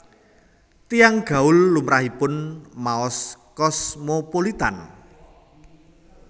Tiyang gaul lumrahipun maos Cosmopolitan